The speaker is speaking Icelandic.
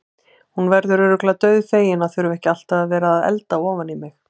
Hún verður örugglega dauðfegin að þurfa ekki alltaf að vera að elda ofan í mig.